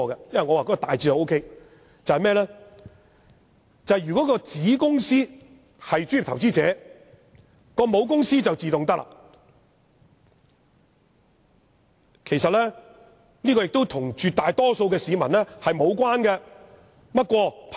我認為修訂大致是可以的，如果子公司是專業投資者，母公司就自動成為專業投資者，這與絕大多數市民無關。